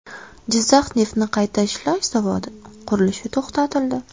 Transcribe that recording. Jizzax neftni qayta ishlash zavodi qurilishi to‘xtatildi .